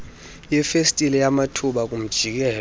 yefestile yamathuba kumjikelo